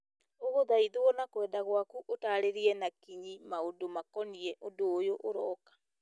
ũgũthaithwo na kwenda gwaku ũtarĩria na kinyi maũndũ makoniĩ ũndũ ũyũ ũrooka